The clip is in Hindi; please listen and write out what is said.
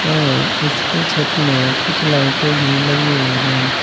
इसकी छत में कुछ लाइटे भी लगी हुई हैं।